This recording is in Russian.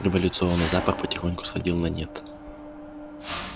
революционный запал потихоньку сходил на нет